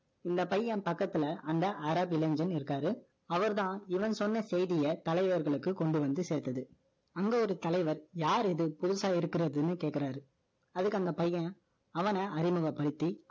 இந்த பையன் பக்கத்துல, அந்த அரபு இளைஞன் இருக்காரு. அவர்தான், இவன் சொன்ன செய்தியை, தலைவர்களுக்கு கொண்டு வந்து சேர்த்தது அங்க ஒரு தலைவர், யார் இது? புதுசா இருக்குறதுன்னு கேக்குறாரு. அதுக்கு அந்த பையன், அவன அறிமுகப்படுத்தி, அவன் பார்த்த சகுனங்களைப் பத்தி,